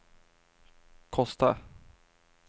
Kosta